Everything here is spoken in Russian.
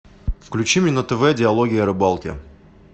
включи мне на тв диалоги о рыбалке